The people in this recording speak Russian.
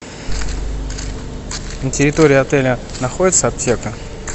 на территории отеля находится аптека